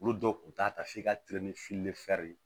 Olu dɔw kun t'a ta f'i ka teri ni fili de ye